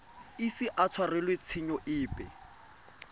ise a tshwarelwe tshenyo epe